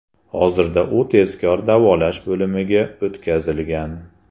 Hozirda u tezkor davolash bo‘limiga o‘tkazilgan.